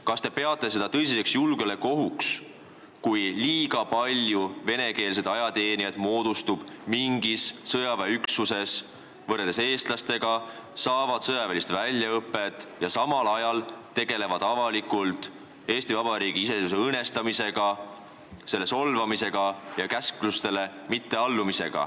Kas te peate seda tõsiseks julgeolekuohuks, kui mingis sõjaväeüksuses on võrreldes eestlastega liiga palju venekeelseid ajateenijaid, kes saavad sõjalist väljaõpet ja samal ajal tegelevad avalikult Eesti Vabariigi iseseisvuse õõnestamisega ja riigi solvamisega ega allu käsklustele?